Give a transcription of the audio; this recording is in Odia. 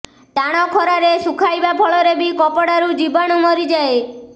ଟାଣ ଖରାରେ ଶୁଖାଇବା ଫଳରେ ବି କପଡ଼ାରୁ ଜୀବାଣୁ ମରିଯାଏ